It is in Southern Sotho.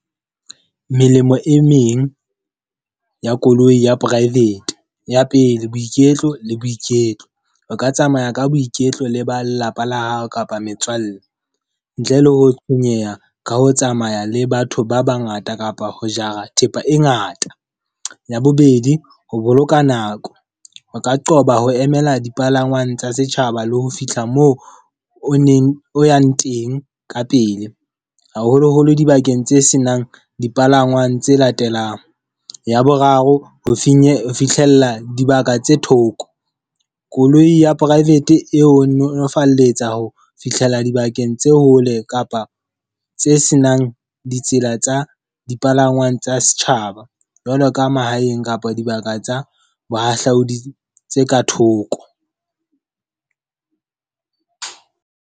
Melemo e meng ya koloi ya private. Ya pele, boiketlo le boiketlo. O ka tsamaya ka boiketlo le ba lelapa la hao kapa metswalle, ntle le ho tshwenyeha ka ho tsamaya le batho ba ba ngata kapa ho jara thepa e ngata. Ya bobedi, ho boloka nako. O ka qoba ho emela dipalangwang tsa setjhaba le ho fihla moo o neng o yang teng ka pele. Haholoholo dibakeng tse senang dipalangwang tse latelang. Ya boraro, ho finye ho fihlella dibaka tse thoko. Koloi ya private e ho nolofaletsa ho fihlela dibakeng tse hole kapa tse senang ditsela tsa dipalangwang tsa setjhaba, jwalo ka mahaeng kapa dibaka tsa bohahlaodi tse ka thoko.